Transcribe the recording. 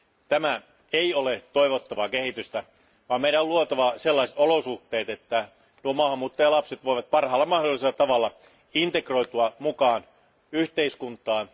Tämä ei ole toivottavaa kehitystä, vaan meidän on luotava sellaiset olosuhteet, että maahanmuuttajalapset voivat parhaalla mahdollisella tavalla integroitua yhteiskuntaan.